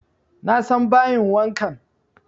Na san bayin wankan